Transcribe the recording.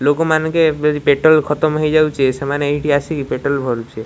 ଲୋକମାନେ କେ ପେଟ୍ରୋଲ ଖତମ୍ ହେଇଯାଉଚେ ସେମାନେ ଏଇଠି ଆସିକି ପେଟ୍ରୋଲ ଭରୁଚନ୍ତି ।